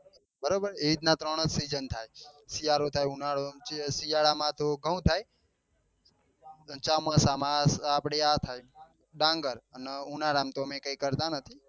બરાબર એવી રીતે ત્રણ જ સીજન થાય શિયાળો થાય ઉનાળો શિયાળો તો ઘઉં થાય અને ચોમાસામાં આપડે આ થાય ડાંગર અને ઉનાળા માં તો અમે કઈ કરતા નથી.